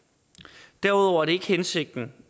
derudover er det ikke hensigten